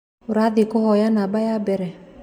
Ũrathie kuoya namba ya mbere